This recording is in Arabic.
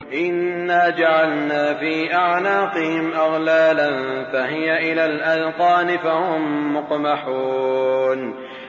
إِنَّا جَعَلْنَا فِي أَعْنَاقِهِمْ أَغْلَالًا فَهِيَ إِلَى الْأَذْقَانِ فَهُم مُّقْمَحُونَ